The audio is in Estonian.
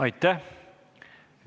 Aitäh!